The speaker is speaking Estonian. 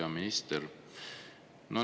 Hea minister!